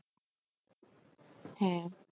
হ্যাঁ